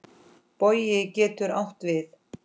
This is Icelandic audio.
Bogi getur átt við